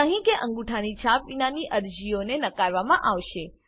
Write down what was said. સહી કે અંગુઠાની છાપ વિનાની અરજીઓ નકારવામાં આવશે